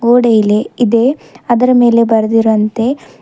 ಗೋಡೆಯಿಲೆ ಇದೆ ಅದರ ಮೇಲೆ ಬರೆದಿರುವಂತೆ--